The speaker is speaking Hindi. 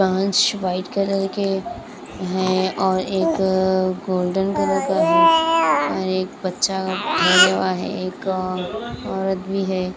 कांच व्हाईट कलर के हैं और एक गोल्डन कलर का है और एक बच्चा है एक औरत भी है।